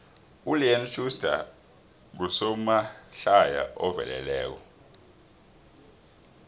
uleon schuster ngusomahlaya oveleleko